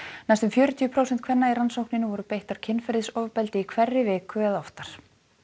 næstum fjörutíu prósent kvenna í rannsókninni voru beittar kynferðisofbeldi í hverri viku eða oftar